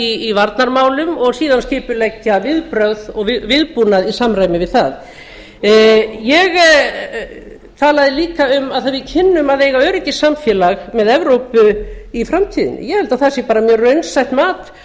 í varnarmálum og síðan skipuleggja viðbrögð og viðbúnað í samræmi við það ég talaði líka um að við kynnum að eiga öryggissamfélag við evrópu í framtíðinni ég held að það sé bara mjög raunsætt mat